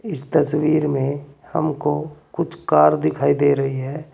इस तस्वीर में हमको कुछ कार दिखाई दे रही है।